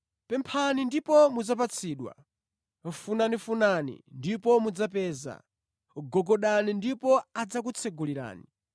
“Pemphani ndipo mudzapatsidwa; funafunani ndipo mudzapeza; gogodani ndipo adzakutsekulirani.